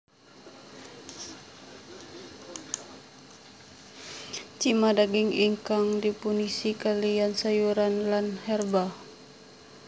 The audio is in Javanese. Cima daging ingkang dipunisi kaliyan sayuran lan herba